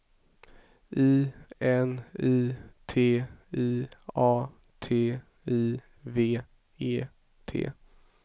I N I T I A T I V E T